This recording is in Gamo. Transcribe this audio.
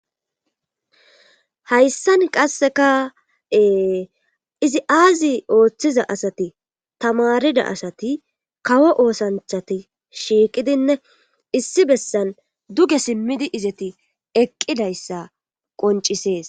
Hayssan qasseka ee izi aazi ooththiza asati tamarida asati kawo oosanchati shiiqidinne issi bessan duge simmidi izeti eqqidayssa qoncisees.